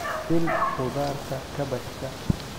shiil khudaarta kaabashka